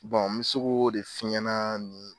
Bɔn n bɛ se k'o de f'i ɲɛna.